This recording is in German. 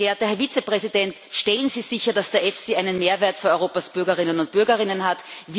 Sehr geehrter Herr Vizepräsident, stellen Sie sicher, dass der EFSI einen Mehrwert für Europas Bürger und Bürgerinnen hat!